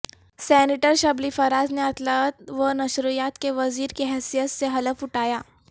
senator Shibli Faraz نے اطلاعات و نشریات کے وزیر کی حیثیت سے حلف اٹھایا